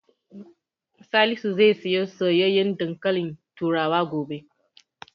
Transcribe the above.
Salisu zai siyo soyayyen dankalin turawa gobe.